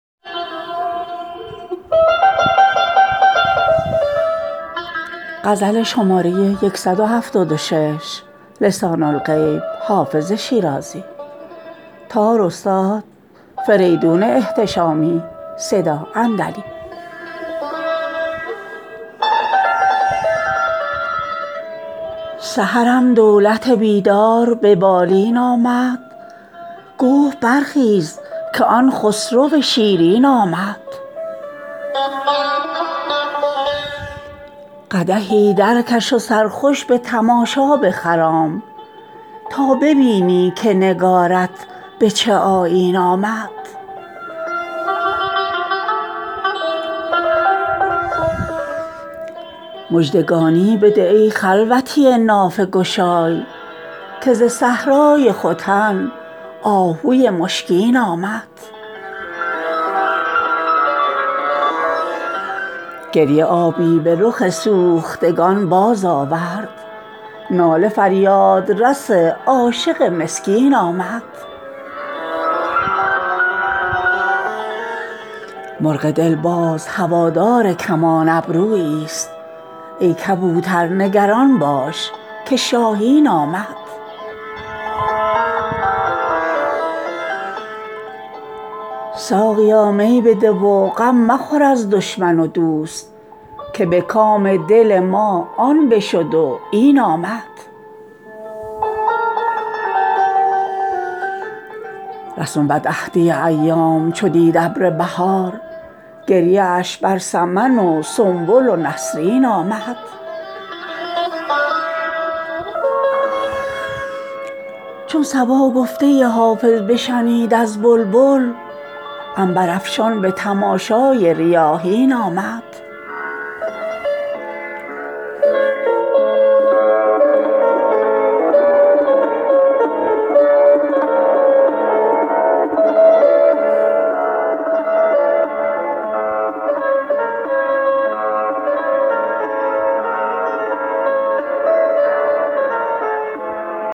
سحرم دولت بیدار به بالین آمد گفت برخیز که آن خسرو شیرین آمد قدحی درکش و سرخوش به تماشا بخرام تا ببینی که نگارت به چه آیین آمد مژدگانی بده ای خلوتی نافه گشای که ز صحرای ختن آهوی مشکین آمد گریه آبی به رخ سوختگان بازآورد ناله فریادرس عاشق مسکین آمد مرغ دل باز هوادار کمان ابروییست ای کبوتر نگران باش که شاهین آمد ساقیا می بده و غم مخور از دشمن و دوست که به کام دل ما آن بشد و این آمد رسم بدعهدی ایام چو دید ابر بهار گریه اش بر سمن و سنبل و نسرین آمد چون صبا گفته حافظ بشنید از بلبل عنبرافشان به تماشای ریاحین آمد